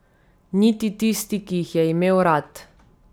Niti tisti, ki jih je imel rad.